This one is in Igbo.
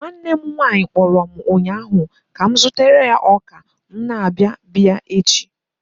Nwanne m nwanyị kpọrọ m ụnyaahụ ka m zụtara ya ọka ma m na-abia bee ya echi.